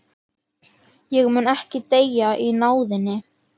Ég mun ekki deyja í náðinni.